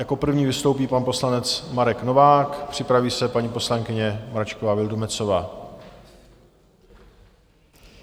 Jako první vystoupí pan poslanec Marek Novák, připraví se paní poslankyně Mračková Vildumetzová.